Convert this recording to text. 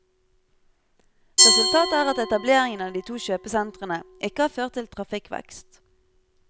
Resultatet er at etableringen av de to kjøpesentrene ikke har ført til trafikkvekst.